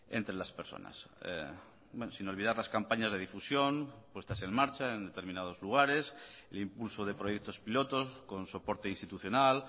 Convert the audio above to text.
entre las personas sin olvidar las campañas de difusión puestas en marcha en determinados lugares el impulso de proyectos pilotos con soporte institucional